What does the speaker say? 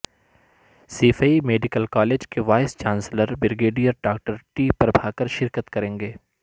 Saifai medical college کے vice chancellor brigadier doctor T Prabhakar شرکت کریں گے